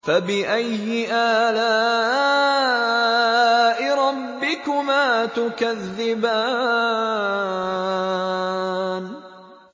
فَبِأَيِّ آلَاءِ رَبِّكُمَا تُكَذِّبَانِ